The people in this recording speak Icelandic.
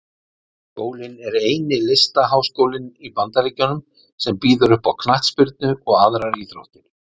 Skólinn er eini Listaháskólinn í Bandaríkjunum sem býður uppá Knattspyrnu og aðrar íþróttir.